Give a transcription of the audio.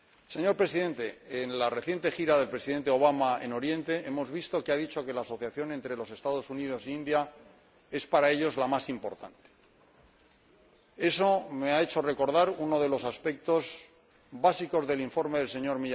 Señor Presidente, en la reciente gira del Presidente Obama en Oriente hemos visto que ha dicho que la asociación entre los Estados Unidos y la India es para ellos la más importante. Eso me ha hecho recordar uno de los aspectos básicos del informe del Sr.